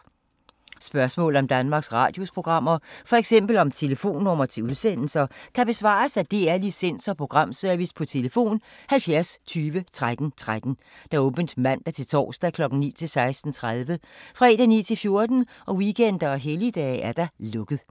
Spørgsmål om Danmarks Radios programmer, f.eks. om telefonnumre til udsendelser, kan besvares af DR Licens- og Programservice: tlf. 70 20 13 13, åbent mandag-torsdag 9.00-16.30, fredag 9.00-14.00, weekender og helligdage: lukket.